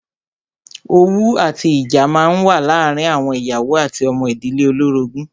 Owú àti ìjà máa ń wà láàárín àwọn ìyàwó àti ọmọ ìdílé olórogún.